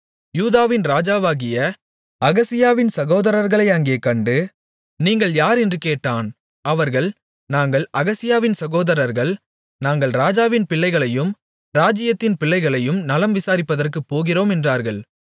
யூதாவின் ராஜாவாகிய அகசியாவின் சகோதரர்களை அங்கே கண்டு நீங்கள் யார் என்று கேட்டான் அவர்கள் நாங்கள் அகசியாவின் சகோதரர்கள் நாங்கள் ராஜாவின் பிள்ளைகளையும் ராஜாத்தியின் பிள்ளைகளையும் நலம் விசாரிப்பதற்குப் போகிறோம் என்றார்கள்